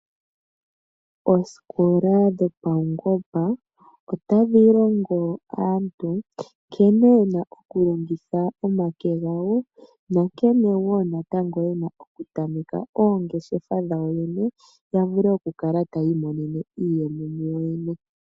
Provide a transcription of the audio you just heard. Oosikola dhopaungomba otadhi longo aantu nkene yena oku longitha omake gawo nankene wo yena oku tameka oongeshefa dhawo yavule oku kala tayi imonene iiyemo yawo yene.